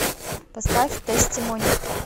поставь тестимони